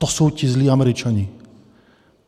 To jsou ti zlí Američané.